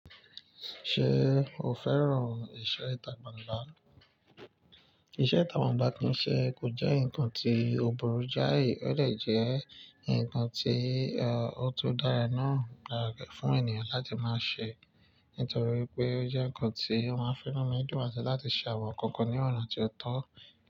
Ṣé o fẹ́ràn ìṣe ìtagbàgbá? Ìṣe ìtagbàlá kí í ṣe kò jẹ́ nǹkan tí ó burú jáì, ó lè jẹ́ nǹkan tí ọ̀ tó dára náà gáràkẹ́ fún ènìyàn láti máa ṣe. Nítorí pé ó jẹ́ nǹkan tí ó máa ń fún ọmọ ìdúróṣinṣin láti ṣàwọn nǹkan ní ọ̀nà tí ó tọ́.